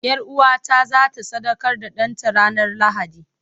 Yar'uwata za ta sadaukar da ɗanta ranar Lahadi.